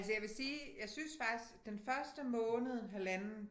Altså jeg vil sige jeg synes faktisk den første måned halvanden